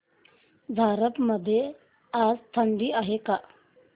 झारप मध्ये आज थंडी आहे का